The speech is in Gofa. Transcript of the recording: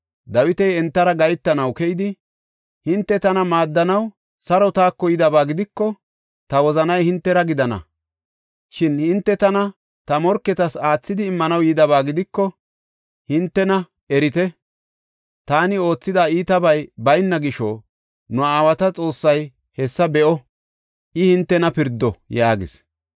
Dawiti entara gahetanaw keyidi, “Hinte tana maaddanaw saro taako yidaba gidiko ta wozanay hintera gidana. Shin hinte tana ta morketas aathidi immanaw yidaba gidiko, hintena erite! Taani oothida iitabay bayna gisho nu aawata Xoossay hessa be7o; I hintena pirdo!” yaagis.